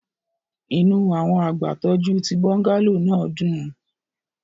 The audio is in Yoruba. Inu awọn agbatọju ti bungalow naa dun